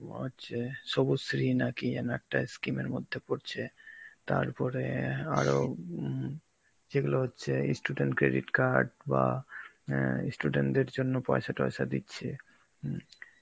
অ হচ্ছে সবুজ শ্রী নাকি জানো একটা scheme এর মধ্যে পড়ছে, তারপরে আরো উম যেগুলো হচ্ছে ই student credit card বা অ্যাঁ ই student দের জন্য পয়সা তয়সা দিচ্ছে, উম